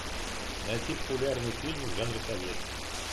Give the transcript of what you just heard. найти популярный фильм в жанре советский